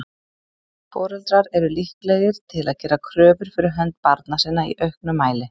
Foreldrar eru líklegir til að gera kröfur fyrir hönd barna sinna í auknum mæli.